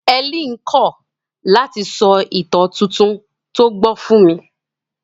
Helen kọ̀ láti sọ ìtàn tuntun tó gbọ́ fún mi.